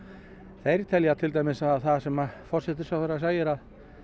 þeir telja til dæmis að það sem forsætisráðherra segir að